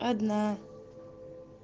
одна